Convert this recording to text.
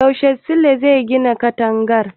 Yaushe Sule zai gine katangar?